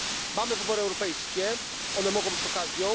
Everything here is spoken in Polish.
Mamy wybory europejskie one mogą być okazją.